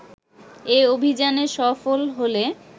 এ অভিযানে সফল হলে